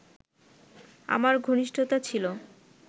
আমার ঘনিষ্ঠতা ছিল